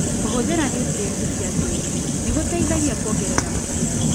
Kũhũthĩra nutrienti cia tĩri nĩgũteithagia kuongerera maciaro.